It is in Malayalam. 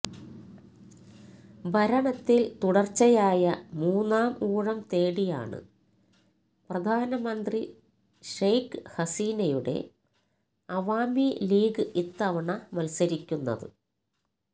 ഭരണത്തില് തുടര്ച്ചയായ മൂന്നാം ഊഴം തേടിയാണ് പ്രധാനമന്ത്രി ഷേഖ് ഹസീനയുടെ അവാമി ലീഗ് ഇത്തവണ മത്സരിക്കുന്നത്